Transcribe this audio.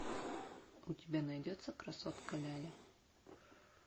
у тебя найдется красотка ляля